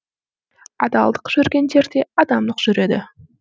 адалдық жүрген жерде адамдық жүреді